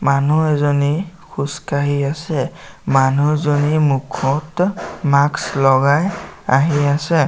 মানুহ এজনী খোজকাঢ়ি আছে মানুহজনী মুখত মাস্ক লগাই আহি আছে।